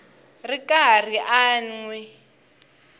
ri karhi a n wi